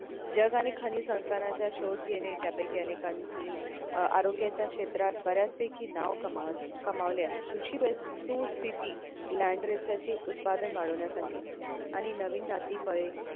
जग आणि खनिज संस्थानांचा शोध घेणे त्या पैकी अनेकांची अं आरोग्याच्या क्षेत्रात बऱ्याच पैकी नाव कमावत कमावले आहे ख़ुशी वस्तू स्थिती land research ची उत्पादन वाढवण्यासाठी आहे आणि नवीन जाती, फळे